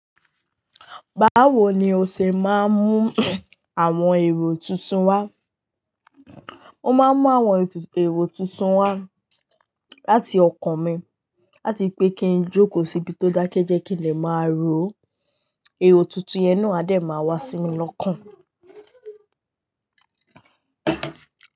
Báwo ni o ṣe máa ń mú àwọn èrò tuntun wá? O máa ń mú àwọn èrò tuntun wá láti ọkàn mi láti pé kí n jókòó síbi tó dákẹ́ jẹ́ kí lè máa rò ó. Èrò tuntun yẹn ni Adé máa wá sí mi lọ́kàn.